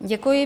Děkuji.